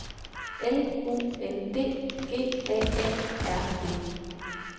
L U N D G A A R D